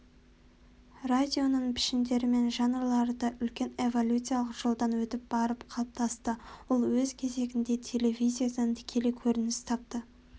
радионың пішіндері мен жанрлары да үлкен эволюциялық жолдан өтіп барып қалыптасты ол өз кезегінде телевизиядан тікелей көрініс тапты